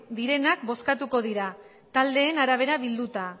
direnak bozkatuko dira taldeen arabera bilduta